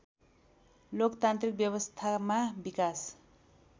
लोकतान्त्रिक व्यवस्थामा विकास